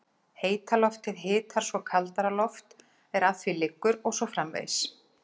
Heita loftið hitar svo kaldara loft er að því liggur og svo framvegis.